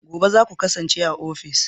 Gobe ​​zaku kasance a ofis?